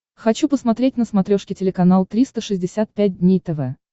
хочу посмотреть на смотрешке телеканал триста шестьдесят пять дней тв